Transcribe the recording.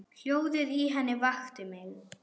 Hljóðið í henni vakti mig.